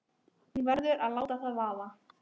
Hún verður að láta það vaða.